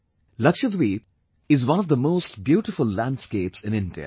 Lakshadweep is one of the most beautiful landscapes in India